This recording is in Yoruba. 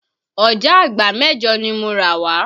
Ọ̀jágbàá mẹ́jọ̀ ni mo rà wá